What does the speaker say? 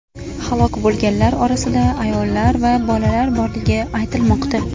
Halok bo‘lganlar orasida ayollar va bolalar borligi aytilmoqda.